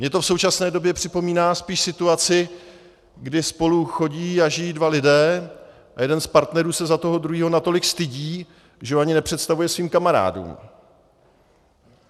Mně to v současné době připomíná spíš situaci, kdy spolu chodí a žijí dva lidé a jeden z partnerů se za toho druhého natolik stydí, že ho ani nepředstavuje svým kamarádům.